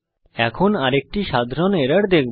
এখন আমরা আরেকটি সাধারণ এরর দেখব